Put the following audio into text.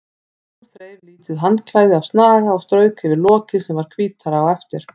Hún þreif lítið handklæði af snaga og strauk yfir lokið sem varð hvítara á eftir.